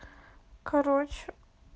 короче